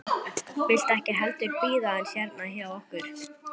Viltu ekki heldur bíða hans hérna hjá okkur?